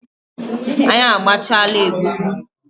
Anyị agbachaala egusi